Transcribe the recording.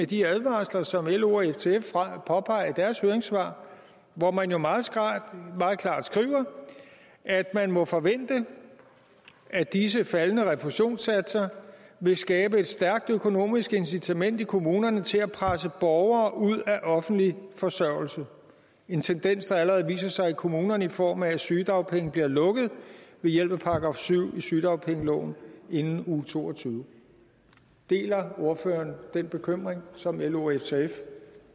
de advarsler som lo og ftf påpeger i deres høringssvar hvor man jo meget klart skriver at det må forventes at disse faldende refusionssatser vil skabe et stærkt økonomisk incitament i kommunerne til at presse borgere ud af offentlig forsørgelse en tendens der allerede viser sig i kommunerne i form af at sygedagpenge bliver lukket ved hjælp af § syv i sygedagpengeloven inden uge toogtyvende deler ordføreren den bekymring som lo og ftf